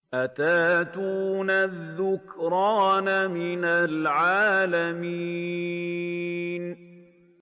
أَتَأْتُونَ الذُّكْرَانَ مِنَ الْعَالَمِينَ